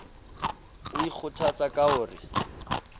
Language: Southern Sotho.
o ikgothatsa ka ho re